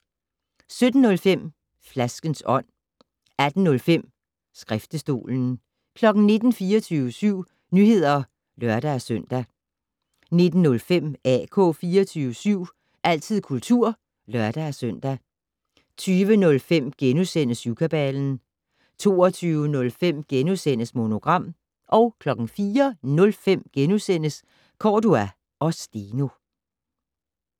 17:05: Flaskens ånd 18:05: Skriftestolen 19:00: 24syv Nyheder (lør-søn) 19:05: AK 24syv - altid kultur (lør-søn) 20:05: Syvkabalen * 22:05: Monogram * 04:05: Cordua & Steno *